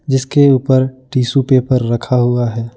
जिसके ऊपर tissue paper रखा हुआ है।